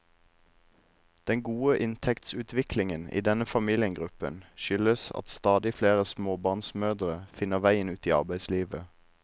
Den gode inntektsutviklingen i denne familiegruppen skyldes at stadig flere småbarnsmødre finner veien ut i arbeidslivet.